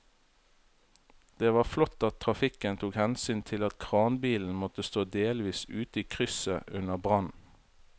Det var flott at trafikken tok hensyn til at kranbilen måtte stå delvis ute i krysset under brannen.